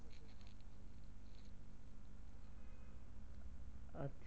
আচ্ছা